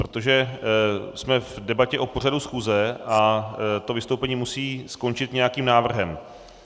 Protože jsme v debatě o pořadu schůze a to vystoupení musí skončit nějakým návrhem.